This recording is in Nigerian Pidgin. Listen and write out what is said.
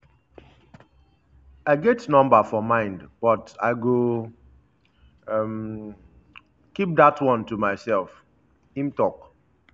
i get number for mind but i go um keep dat one to myself” im tok.